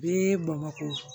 Bɛɛ bamako